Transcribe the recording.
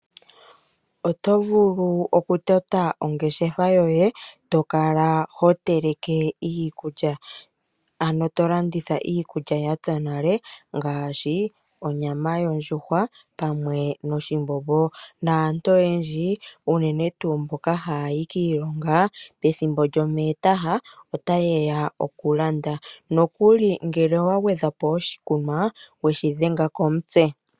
Oto vulu okutota ongeshefa yoye to kala hoteleke iikulya ano to landitha iikulya ya pya nale ngaashi onyama yondjuhwa pamwe noshimbombo naantu oyendji unene tuu mboka haya yi kiilonga pethimbo lyomwiha ota yeya okulanda. Nokuli ngele owa gwedhapo oshikunwa weshi dhenga komutse.